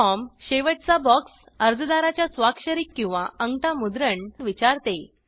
form शेवटचा box अर्जदाराच्या स्वाक्षरी किंवा आंगठा मुद्रण विचारते